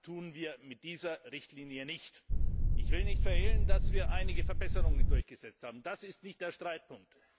Das tun wir mit dieser Richtlinie nicht! Ich will nicht verhehlen, dass wir einige Verbesserungen durchgesetzt haben, das ist nicht der Streitpunkt.